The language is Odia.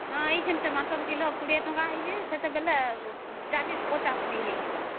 ଆଇନTomato କିଲୋ 20 ତାଙ୍କ ହେବ ବେଳେ ସେତେବେଳେ 4050 ଟଙ୍କା ହେଇଯିବ